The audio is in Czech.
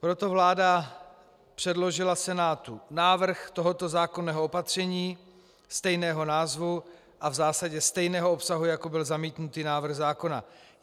Proto vláda předložila Senátu návrh tohoto zákonného opatření stejného názvu a v zásadě stejného obsahu, jako byl zamítnutý návrh zákona.